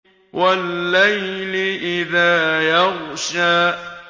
وَاللَّيْلِ إِذَا يَغْشَىٰ